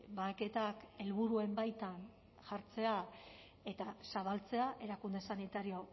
bahaketak helburuen baitan jartzea eta zabaltzea erakunde sanitario